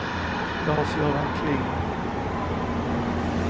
Lars-Göran Kling